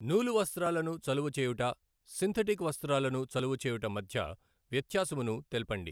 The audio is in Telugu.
నూలు వస్త్రాలను చలువచేయుట సింధటిక్ వస్త్రాలను చలువచేయుట మధ్య వ్యత్యాసమును తెల్పండి.